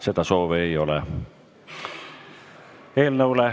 Seda soovi ei ole.